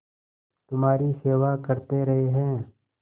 तुम्हारी सेवा करते रहे हैं